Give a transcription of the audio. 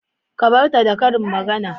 Ka bar ta da karin magana